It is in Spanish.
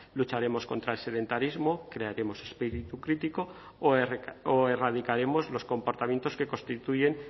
lucharemos contra el sedentarismo crearemos espíritu crítico o erradicaremos los comportamientos que constituyen